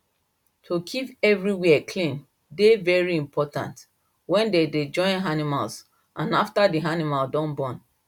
to keep everywhere clean dey very important when dem dey join animals and after the animal don born